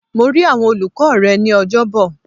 Mo rí àwọn olùkọ́ rẹ ní Ọjọ́bọ̀.